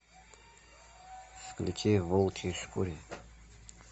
включи в волчьей шкуре